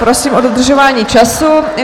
Prosím o dodržování času.